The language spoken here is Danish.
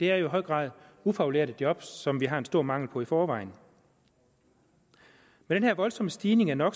er jo i høj grad ufaglærte job som vi har en stor mangel på i forvejen med den her voldsomme stigning i no